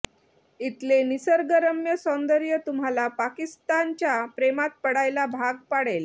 इथले निसर्गरम्य सौंदर्य तुम्हाला पाकिस्ताच्या प्रेमात पडायला भाग पाडेल